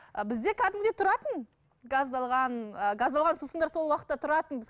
і бізде кәдімгідей тұратын газдалған ы газдалған сусындар сол уақытта тұратын